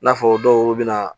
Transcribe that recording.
I n'a fɔ dɔw bɛ na